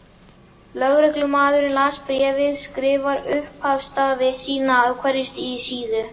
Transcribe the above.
Lögreglumaðurinn sem las bréfið skrifar upphafsstafi sína á hverja síðu.